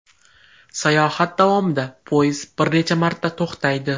Sayohat davomida poyezd bir necha marta to‘xtaydi.